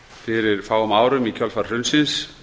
fyrir fáum árum í kjölfar hrunsins